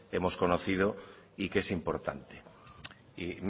hemos conocido y que es importante mire